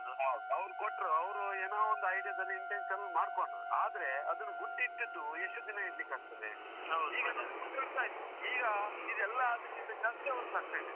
ಹೌದು ಅವರ್ ಕೊಟ್ರು, ಅವರು ಏನೋ ಒಂದು idea ದಲ್ಲಿ intention ಅಲ್ಲಿ ಮಾಡ್ಕೊಂಡ್ರು. ಆದ್ರೆ ಅದನ್ನ್ ಗುಟ್ಟು ಇಟ್ಟಿದ್ರೂ ಎಷ್ಟು ದಿನ ಇಡ್ಲಿಕ್ಕೆ ಆಗ್ತದೆ? ಈಗ ನೋಡಿ ಗುಟ್ಟು ರಟ್ಟಾಯಿತು. ಈಗ ಇದು ಎಲ್ಲದ್ಕಿಂತ ಜಾಸ್ತಿ ಅವರಲ್ಲಿ ಆಗ್ತಾ ಇದೆ.